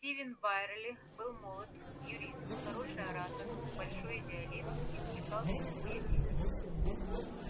стивен байерли был молод юрист хороший оратор большой идеалист и увлекался биофизикой